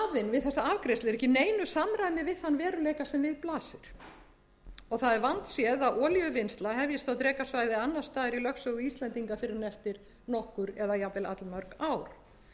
við þessa afgreiðslu er ekki í neinu samræmi við þann veruleika sem við blasir og það er vandséð að olíuvinnsla hefjist á drekasvæði annars staðar í lögsögu íslendinga fyrr en eftir nokkur eða jafnvel allmörg ár